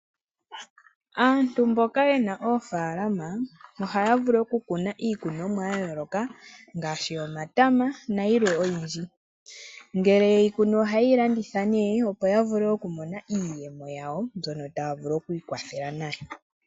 Aantu mboka yena ofaalama ohaya vulu okukuna iikunomwa yayooloka ngaashi omatama nayilwe oyindji. Ngele yeyi kunu ohayi landitha opo yavule iiyemo yawo, mbyono taya vulu okwiikwathela nayo.